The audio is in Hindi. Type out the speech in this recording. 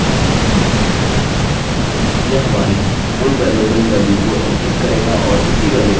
यहाँ टिप्पणी करें encrypt password हमने अपने पासवर्ड को एन्क्रिप्ट कर लिया है